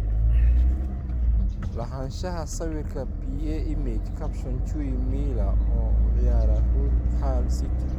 Lahaanshaha sawirka PA Image caption Chui Milia oo u ciyaara Hull City.